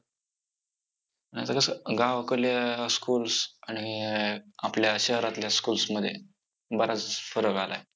नाहीतर कसं गावाकडल्या~ schools आणि अं आपल्या शहरातल्या schools मध्ये, बराच फरक आलाय.